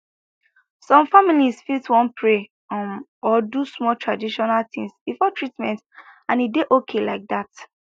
some families fit wan pray um or do small traditional things before treatment and e dey okay like that